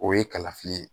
O ye kalafili ye